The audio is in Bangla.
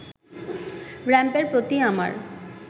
র‌্যাম্পের প্রতি আমার